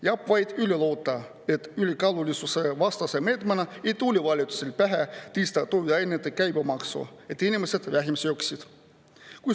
Jääb vaid üle loota, et ülekaalulisusevastase meetmena ei tule valitsusel pähe tõsta toiduainete käibemaksu, et inimesed vähem sööksid.